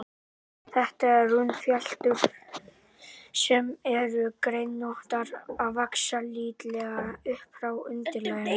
Þetta eru runnfléttur, sem eru greinóttar og vaxa lítillega upp frá undirlaginu.